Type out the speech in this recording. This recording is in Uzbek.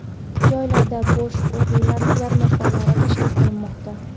Joylarda bo‘sh ish o‘rinlari yarmarkalari tashkil qilinmoqda.